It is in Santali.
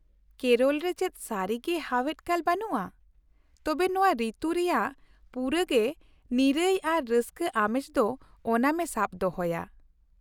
ᱠᱮᱨᱚᱞ ᱨᱮ ᱪᱮᱫ ᱥᱟᱹᱨᱤᱜᱮ ᱦᱟᱣᱮᱫ ᱠᱟᱞ ᱵᱟᱱᱩᱜᱼᱟ, ᱛᱚᱵᱮ ᱱᱚᱶᱟ ᱨᱤᱛᱩ ᱨᱮᱭᱟᱜ ᱯᱩᱨᱟᱹᱜᱮ ᱱᱤᱨᱟᱹᱭ ᱟᱨ ᱨᱟᱹᱥᱠᱟᱹ ᱟᱢᱮᱡ ᱫᱚ ᱳᱱᱟᱢᱮ ᱥᱟᱵ ᱫᱚᱦᱚᱭᱟ ᱾